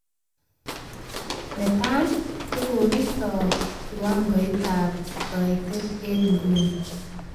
Netai, kokokiton kiwagoitab kaitet eng nguni